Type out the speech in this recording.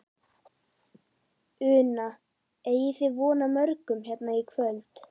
Una: Eigið þið von á morgun hérna í kvöld?